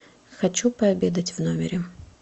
хочу пообедать в номере